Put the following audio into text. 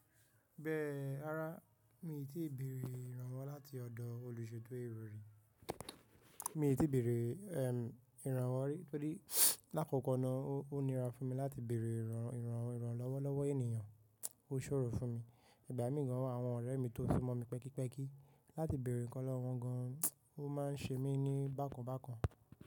Bẹ́ẹ̀, ràrá, mi tíì bèrè ìrànwọ́ láti ọ̀dọ̀ olùṣeto erò ri. Mi ò tíì bèrè, ìrànwọ́ rí, torí lákọ̀kọ́ náà ó níra fún mi láti bèrè ìràn, ìràn, ìrànlọ́wọ́ lọ́wọ́ ènìyàn. Ó ṣòro fún mi. Ìgbà mí gan wa àwọn ọ̀rẹ́ mi tó súmọ́ mi pẹ́kípẹ́kí láti bèrè nkan lọ́wo wọn gan-an, ó máa ń ṣe mí ní bákanbákan.